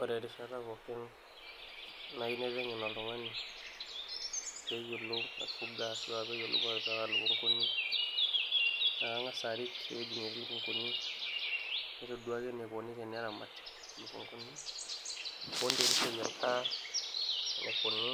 ore erishata pookin naiu naiteng'en oltung'ani peeyiolou aifuga ashua peeyiolou atipika ilukunguni naa kang'as arik ewueji netii ilukunguni naitoduaki enikoni teneramati ilukunguni woontokitin enikoni